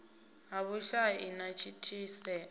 ha vhushai na u thithisea